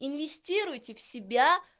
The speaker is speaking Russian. инвестируйте в себя